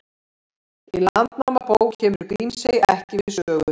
Í Landnámabók kemur Grímsey ekki við sögu.